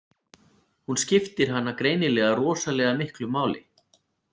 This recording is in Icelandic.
Hún skiptir hana greinilega rosalega miklu máli.